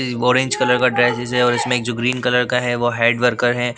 ये orange colour का और इसमें एक जो ग्रीन कलर का है वो हेड वर्कर है।